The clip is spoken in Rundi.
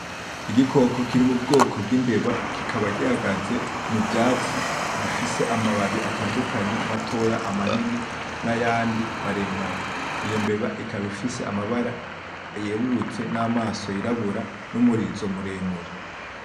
Igikoko kiri mu bwoko bw'imbeba kikaba gihagaze mu vyatsi bifise amababi atandukanye matoya, amanini, nayandi maremare. Iyo mbeba ikaba ifise amabara yerurutse namaso yirabura numurizo muremure.